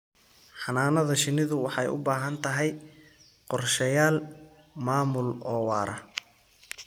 Xannaanada shinnidu waxay u baahan tahay qorshayaal maamul oo waara.